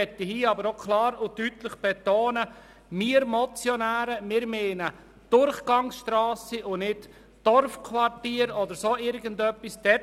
Ich möchte hier aber klar und deutlich betonen, dass wir Motionäre Durchgangsstrassen meinen, nicht Dorfquartiere oder etwas in dieser Art.